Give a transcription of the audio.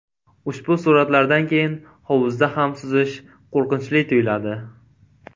Ushbu suratlardan keyin hovuzda ham suzish qo‘rqinchli tuyuladi .